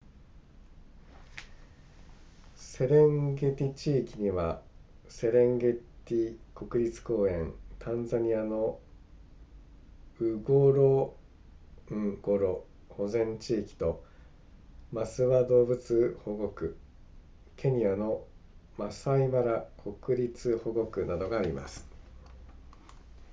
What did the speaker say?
セレンゲティ地域にはセレンゲティ国立公園タンザニアのンゴロンゴロ保全地域とマスワ動物保護区ケニアのマサイマラ国立保護区などがあります